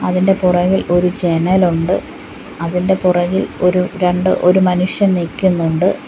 ഇതിൻ്റെ പുറകിൽ ഒരു ജനൽ ഉണ്ട് അതിൻ്റെ പുറകിൽ ഒരു രണ്ട് ഒരു മനുഷ്യൻ നിക്കിന്നുണ്ട്.